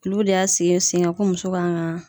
Olu de y'a sigi sen kan ko muso kan ka